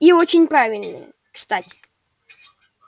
и очень правильные кстати